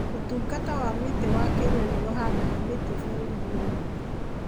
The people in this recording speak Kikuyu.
Ũtungata wa Mĩtĩ wa Kenya nĩ ũhandaga mĩtĩ bũrũri-inĩ wothe.